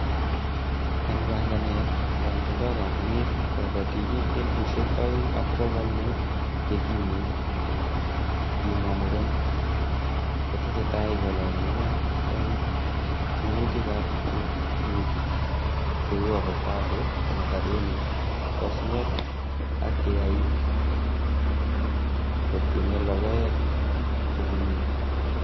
En panganet, yon tindo kompunit kiboitinik elfusiek oeng ak bogol mut chekimen, kimwa muren, kotesetai kolongungee en minutikab ab rurutik cheu avocado, macadamia, osnet ak keyaik kotieme logoek che buluu.